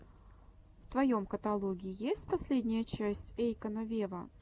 в твоем каталоге есть последняя часть эйкона вево